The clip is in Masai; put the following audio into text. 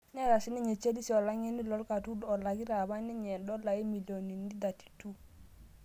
Neetae siininye Chalisi olang'eni loo katuun elakita apa ninye dola omilionnini 32.54